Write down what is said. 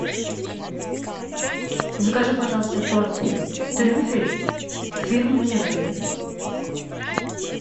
закажи пожалуйста торт трюфель фирмы мирель